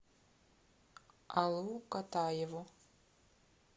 алу катаеву